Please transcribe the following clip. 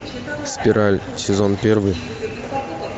спираль сезон первый